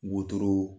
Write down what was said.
Wotoro